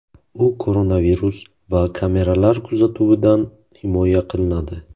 U koronavirus va kameralar kuzatuvidan himoya qiladi.